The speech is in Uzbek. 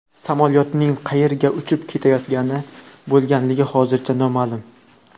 Samolyotning qayerga uchib ketayotgan bo‘lganligi hozircha noma’lum.